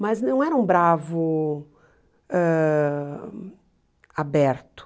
Mas não era um bravo ãh aberto.